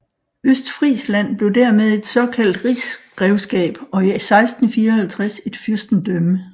Østfrisland blev dermed et såkaldt rigsgrevskab og i 1654 et fyrstendømme